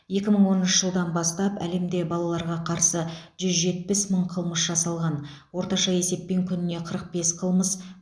екі мың оныншы жылдан бастап әлемде балаларға қарсы жүз жетпіс мың қылмыс жасалған орташа есеппен күніне қырық бес қылмыс